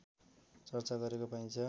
चर्चा गरेको पाइन्छ